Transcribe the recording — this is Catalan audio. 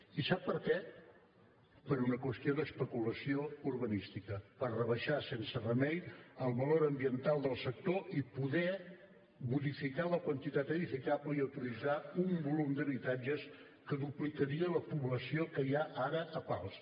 i sap per què per una qüestió d’especulació urbanística per rebaixar sense remei el valor ambiental del sector i poder modificar la quantitat edificable i autoritzar un volum d’habitatges que duplicaria la població que hi ha ara a pals